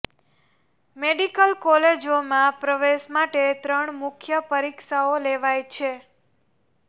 medical કોલેજોમાં પ્રવેશ માટે ત્રણ મુખ્ય પરીક્ષાઓ લેવાઇ છે